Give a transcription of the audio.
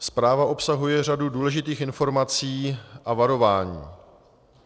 Zpráva obsahuje řadu důležitých informací a varování.